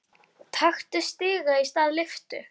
Taktu stiga í stað lyftu.